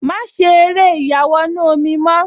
Má ṣe eré ìyàwọnù-omi mọ́